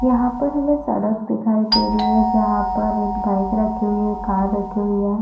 यहाँ पर हमें सड़क दिखाई दे रही है जहाँ पर एक बाइक रखी हुई है कार रखी हुई है।